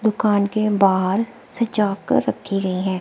दुकान के बाहर सजाकर रखे गए हैं।